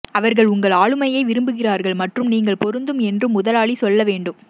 அவர்கள் உங்கள் ஆளுமையை விரும்புகிறார்கள் மற்றும் நீங்கள் பொருந்தும் என்று முதலாளி சொல்ல வேண்டும்